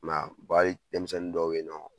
I m'aa, hali denmisɛnnin dɔw be yen nɔ